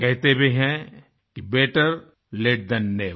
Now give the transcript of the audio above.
कहते भी हैं कि बेटर लते थान never